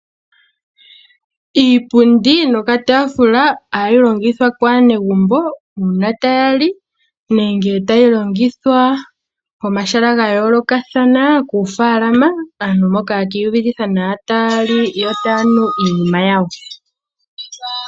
Iipundi niitaafula ohayi longithwa kaanegumbo uuna taya li nenge tayi longithwa pomahala ga yoolokathana koofaalama aantu mpoka ye kiiyuvitha nawa taya li yo taya nu iinima yawo.